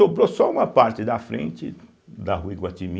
só uma parte da frente, da rua Iguatemi,